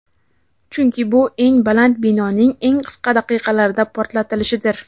chunki bu eng baland binoning eng qisqa daqiqalarda portlatilishidir.